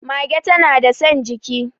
mage tana da San jiki